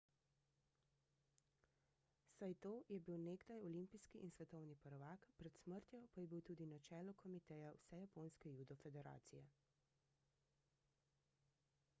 saito je bil nekdaj olimpijski in svetovni prvak pred smrtjo pa je bil tudi na čelu komiteja vsejaponske judo federacije